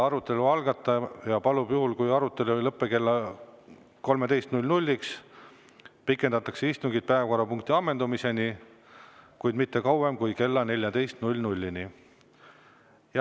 Arutelu algataja palub, juhul kui arutelu ei lõpe kella 13-ks, pikendada istungit päevakorrapunkti ammendumiseni, kuid mitte kauem kui kella 14-ni.